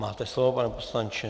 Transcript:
Máte slovo, pane poslanče.